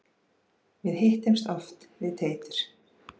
Við hittumst oft við Teitur.